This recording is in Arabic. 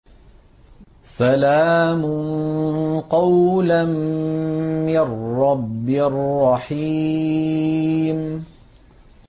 سَلَامٌ قَوْلًا مِّن رَّبٍّ رَّحِيمٍ